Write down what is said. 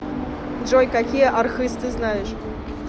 джой какие архыз ты знаешь